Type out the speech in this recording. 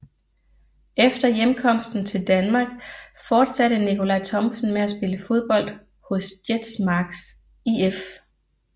Efter hjemkomsten til Danmark forsatte Nickolaj Thomsen med at spille fodbold hos Jetsmark IF